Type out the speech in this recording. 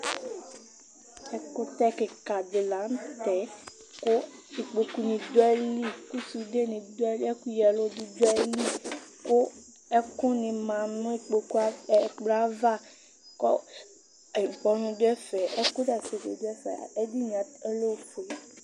Ɛkʋtɛ kɩka dɩ la nʋ tɛ kʋ ikpokunɩ dʋ ayili kʋ sudenɩ dʋ ayili ɛkʋyǝ ɛlʋ bɩ dʋ ayili kʋ ɛkʋnɩ ma nʋ kpoku yɛ ɛkplɔ yɛ ava kʋ ʋkpɔnʋ dʋ ɛfɛ ɛkʋzati bɩ dʋ ɛfɛ Edini yɛ ɔlɛ ofue